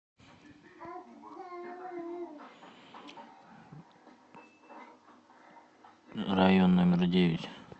район номер девять